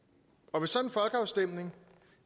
og